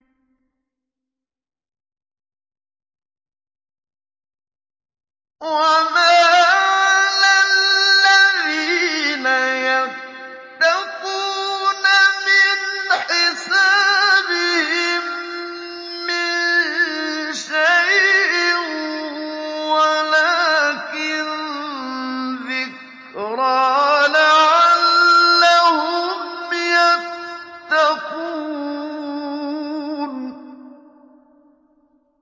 وَمَا عَلَى الَّذِينَ يَتَّقُونَ مِنْ حِسَابِهِم مِّن شَيْءٍ وَلَٰكِن ذِكْرَىٰ لَعَلَّهُمْ يَتَّقُونَ